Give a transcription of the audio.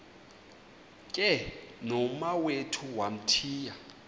ke nomawethu wamthiya